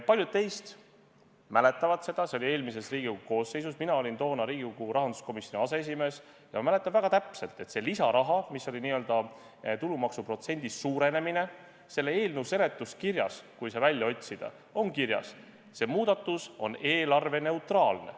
Paljud teist mäletavad – see oli eelmises Riigikogu koosseisus, mina olin toona Riigikogu rahanduskomisjoni aseesimees ja mäletan väga täpselt –, et see lisaraha, mis oli n-ö tulumaksu protsendi suurenemine selle eelnõu seletuskirjas, kui see välja otsida, siis seal on kirjas, et see muudatus on eelarveneutraalne.